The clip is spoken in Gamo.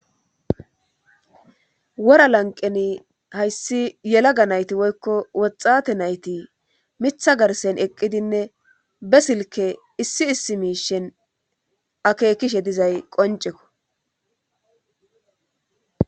Wora lanqeni hayssi yelaga nayti woykko woxxate nayti mitha garsen eqqidinne be silke issi issi miishen akekishe dizay qoncekko